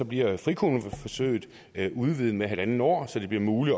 bliver frikommuneforsøget udvidet med en en halv år så det bliver muligt